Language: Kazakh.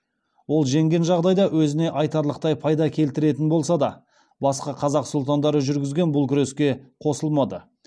ол жеңген жағдайда өзіне айтарлықтай пайда келтіретін болса да басқа қазақ сұлтандары жүргізген бұл күреске қосылмады